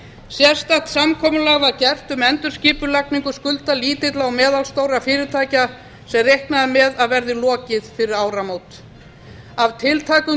sérstakt samkomulag var gert um endurskipulagningu skulda lítilla og meðalstórra fyrirtækja sem reiknað er með að verði lokið fyrir áramót af tiltækum